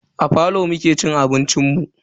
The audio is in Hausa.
A falo muka ci abincin mu.